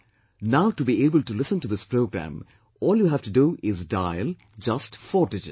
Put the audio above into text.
Now, to be able to listen to this programme, all you have to do is to dial just four digits